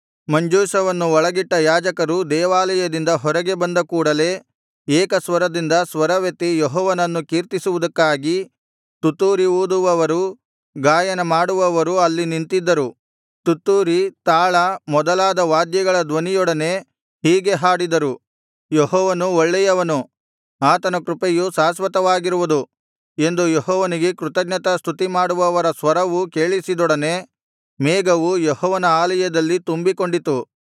ಮಂಜೂಷವನ್ನು ಒಳಗಿಟ್ಟ ಯಾಜಕರು ದೇವಾಲಯದಿಂದ ಹೊರಗೆ ಬಂದಕೂಡಲೆ ಏಕ ಸ್ವರದಿಂದ ಸ್ವರವೆತ್ತಿ ಯೆಹೋವನನ್ನು ಕೀರ್ತಿಸುವುದಕ್ಕಾಗಿ ತುತ್ತೂರಿ ಊದುವವರೂ ಗಾಯನ ಮಾಡುವವರೂ ಅಲ್ಲಿ ನಿಂತಿದ್ದರು ತುತ್ತೂರಿ ತಾಳ ಮೊದಲಾದ ವಾದ್ಯಗಳ ಧ್ವನಿಯೊಡನೆ ಹೀಗೆ ಹಾಡಿದರು ಯೆಹೋವನು ಒಳ್ಳೆಯವನು ಆತನ ಕೃಪೆಯು ಶಾಶ್ವತವಾಗಿರುವುದು ಎಂದು ಯೆಹೋವನಿಗೆ ಕೃತಜ್ಞತಾಸ್ತುತಿ ಮಾಡುವವರ ಸ್ವರವೂ ಕೇಳಿಸಿದೊಡನೆ ಮೇಘವು ಯೆಹೋವನ ಆಲಯದಲ್ಲಿ ತುಂಬಿಕೊಂಡಿತು